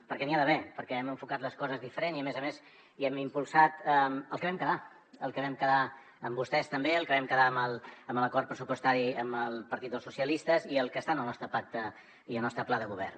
perquè n’hi ha d’haver perquè hem enfocat les coses diferent i a més a més hem impulsat el que vam quedar el que vam quedar amb vostès també el que vam quedar en l’acord pressupostari amb el partit dels socialistes i el que està en el nostre pacte i el nostre pla de govern